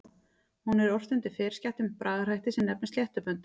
Hún er ort undir ferskeyttum bragarhætti sem nefnist sléttubönd.